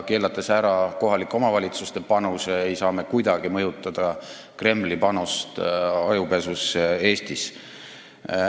Keelates ära kohalike omavalitsuste panuse, ei saa me kuidagi mõjutada Kremli panust ajupesusse Eestis.